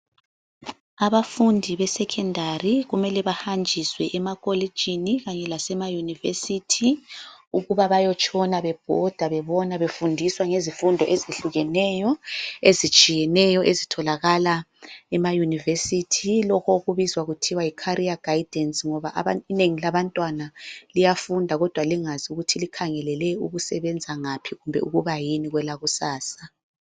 Abafundi be secondary kumele bahanjiswe ema kolitshini kanye lasema university, ukuze baye tshona bebhoda bebona befundiswa ngezifundo ezehlukeneyo ezitshiyeneyo. Ezitholakala ema university. Lokho okubizwa kuthiwa yi Carrier Guidance. Ngoba inengi labantwana liyafunda kodwa lingazi ukuthi likhangelele ukusebenza ngaphi kumbe ukuba yini kwelakusasa.